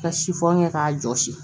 Ka sifɔni kɛ k'a jɔsi